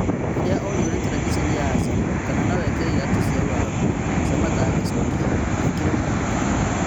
Rĩrĩa oririo nĩ- tereviceni ya Azam kana noekĩre iratũ cia lugaku Samata agĩcokĩa :" ingĩkĩremwo nĩkĩ ?